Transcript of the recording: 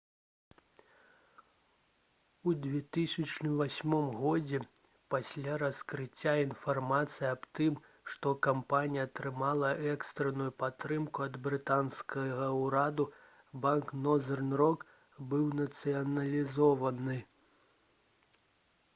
у 2008 годзе пасля раскрыцця інфармацыі аб тым што кампанія атрымала экстранную падтрымку ад брытанскага ўраду банк «нозэрн рок» быў нацыяналізаваны